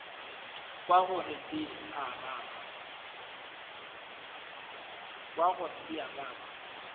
kwa gore di a baba